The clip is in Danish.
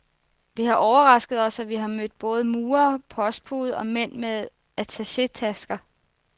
Det har overrasket os, at vi har mødt både murere, postbude og mænd med attachétasker.